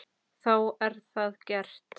Þá er það gert.